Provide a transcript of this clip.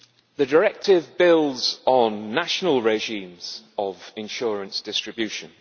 The directive builds on national regimes of insurance distribution.